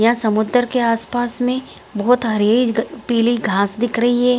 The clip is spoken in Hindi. यहाँ समुदर के आस-पास में बहोत हरी ग पिली घास दिख रही है।